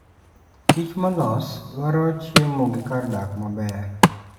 Kich molos dwaro chiemo gi kar dak maber.